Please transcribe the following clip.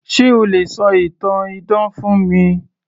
Se o lè ṣọ ìtàn idán fún mi